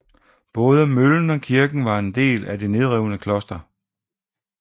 Både møllen og kirken var en del af det nedrevne kloster